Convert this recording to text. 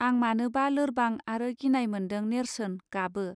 आं मानोबा लोरबां आरो गिनाय मोन्दों नेर्सोन गाबो